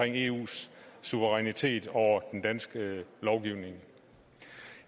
eus suverænitet over den danske lovgivning